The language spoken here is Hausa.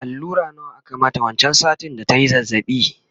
allura nawa aka mata wancan satin da tayi zazzabi?